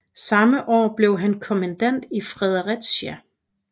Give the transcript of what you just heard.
Samme år blev han kommandant i Fredericia